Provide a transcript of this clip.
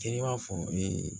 Te n'i b'a fɔ ee